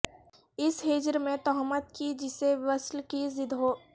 اس ہجر پہ تہمت کی جسے وصل کی ضد ہو